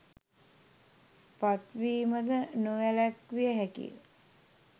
පත්වීම ද නොවැළැක්විය හැකිය.